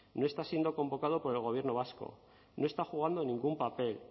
no está siendo convocado por el gobierno vasco no está jugando ningún papel